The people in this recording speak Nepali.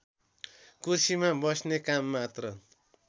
कुर्सीमा बस्ने काममात्र